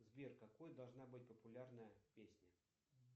сбер какой должна быть популярная песня